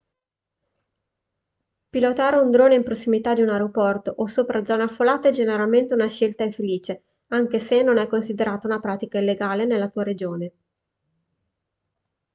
pilotare un drone in prossimità di un aeroporto o sopra zone affollate è generalmente una scelta infelice anche se non è considerata una pratica illegale nella tua regione